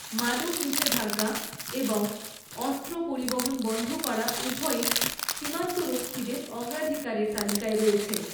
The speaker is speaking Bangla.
মাদক নিষেধাজ্ঞা এবং অস্ত্র পরিবহন বন্ধ করা উভয়ই সীমান্তরক্ষীদের অগ্রাধিকারের তালিকায় রয়েছে।